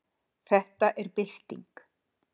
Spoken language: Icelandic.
Þetta er bylting.